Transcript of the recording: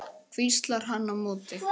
hvíslar hann á móti.